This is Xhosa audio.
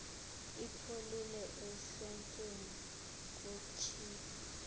ipholile ehlotyeni kutshiphu